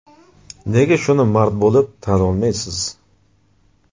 Nega shuni mard bo‘lib, tan olmayapsiz?!